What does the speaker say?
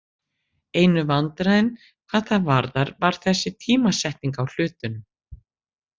Einu vandræðin hvað það varðar var þessi tímasetning á hlutunum.